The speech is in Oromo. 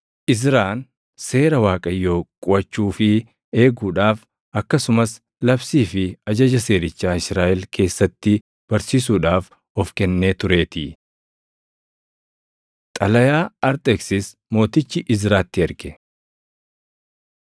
Izraan Seera Waaqayyoo quʼachuu fi eeguudhaaf akkasumas labsii fi ajaja seerichaa Israaʼel keessatti barsiisuudhaaf of kennee tureetii. Xalayaa Arxeksis Mootichi Izraatti Erge